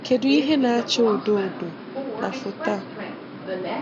Kedụ ihe na-acha odo odo na foto a?